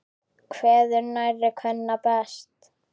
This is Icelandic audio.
Kveður nærri kvenna best.